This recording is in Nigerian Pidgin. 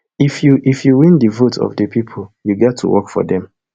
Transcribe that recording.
if you if you win di vote of di pipo you gat to work for them